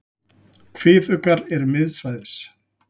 Kviðuggar eru miðsvæðis.